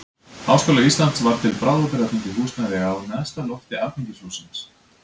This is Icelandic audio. Háskóla Íslands var til bráðabirgða fengið húsnæði á neðsta lofti alþingishússins.